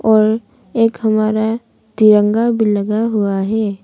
और एक हमारा तिरंगा भी लगा हुआ है।